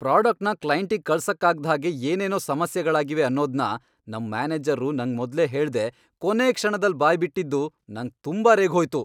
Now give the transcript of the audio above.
ಪ್ರಾಡಕ್ಟ್ನ ಕ್ಲೈಂಟಿಗ್ ಕಳ್ಸಕ್ಕಾಗ್ದ್ ಹಾಗೆ ಏನೇನೋ ಸಮಸ್ಯೆಗಳಾಗಿವೆ ಅನ್ನೋದ್ನ ನಮ್ ಮ್ಯಾನೇಜರ್ರು ನಂಗ್ ಮೊದ್ಲೇ ಹೇಳ್ದೇ ಕೊನೇ ಕ್ಷಣದಲ್ ಬಾಯ್ಬಿಟ್ಟಿದ್ದು ನಂಗ್ ತುಂಬಾ ರೇಗ್ಹೋಯ್ತು.